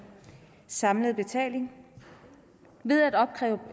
samlet betaling ved at opkræve